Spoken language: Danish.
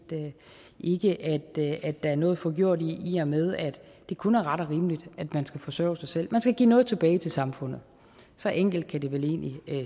ikke at der er noget forgjort i i og med at det kun er ret og rimeligt at man skal forsørge sig selv man skal give noget tilbage til samfundet så enkelt kan det vel egentlig